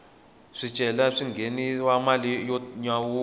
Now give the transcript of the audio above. swicelwa swi nghenisa mali yo nyawula